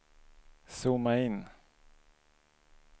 zooma in